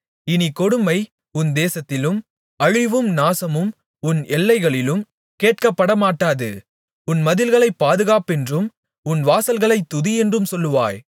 இனிக் கொடுமை உன் தேசத்திலும் அழிவும் நாசமும் உன் எல்லைகளிலும் கேட்கப்படமாட்டாது உன் மதில்களைப் பாதுகாப்பென்றும் உன் வாசல்களைத் துதியென்றும் சொல்வாய்